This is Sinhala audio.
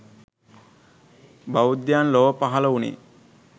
බෞද්ධයන් ලොව පහළ වුණේ